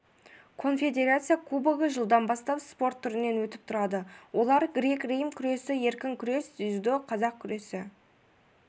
конфедерация кубогы жылдан бастап спорт түрінен өтіп тұрады олар грек-рим күресі еркін күрес дзюдо қазақ күресі